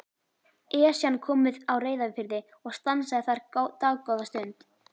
Esjan kom við á Reyðarfirði og stansaði þar dágóða stund.